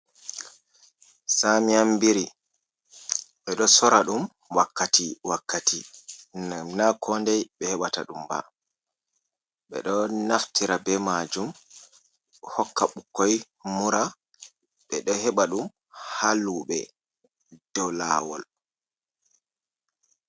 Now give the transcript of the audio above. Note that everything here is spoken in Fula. Samiyan biri ɓe ɗo sora ɗum ,wakkati wakkati ,naa kooday ɓe heɓata ɗum ba. Ɓe ɗo naftira be maajum hokka ɓukkoy mura ,ɓe ɗo heɓa ɗum haa luuɓe dow laawol.